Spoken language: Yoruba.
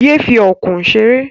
Yé fi ọ̀kùn ṣeré.